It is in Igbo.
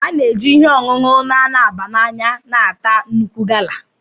A na-eji ihe ọṅụṅụ dị nro na-ata nnukwu gala.